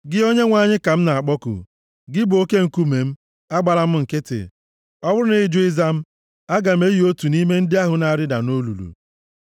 Gị Onyenwe anyị ka m na-akpọku; gị bụ Oke nkume m, agbala m nkịtị. Ọ bụrụ na ị jụ ịza m, aga m eyi otu nʼime ndị ahụ na-arịda nʼolulu.